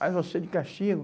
Mas você de castigo?